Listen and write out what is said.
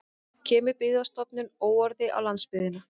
Kemur Byggðastofnun óorði á landsbyggðina